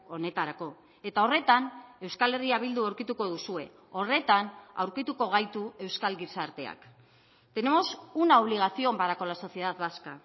honetarako eta horretan euskal herria bildu aurkituko duzue horretan aurkituko gaitu euskal gizarteak tenemos una obligación para con la sociedad vasca